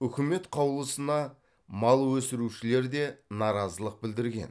үкімет қаулысына мал өсірушілер де наразылық білдірген